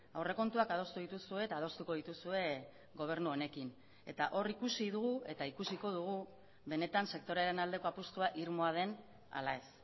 aurrekontuak adostu dituzue eta adostuko dituzue gobernu honekin eta hor ikusi dugu eta ikusiko dugu benetan sektorearen aldeko apustua irmoa den ala ez